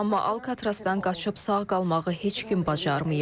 Amma Alkatrazdan qaçıb sağ qalmağı heç kim bacarmayıb.